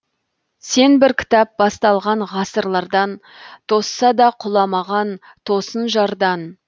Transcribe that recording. сен бір кітап басталған ғасырлардан тосса да құламаған тосын жардан